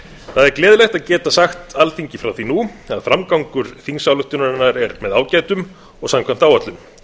er gleðilegt að geta sagt alþingi frá því nú að framgangur þingsályktunarinnar er með ágætum og samkvæmt áætlun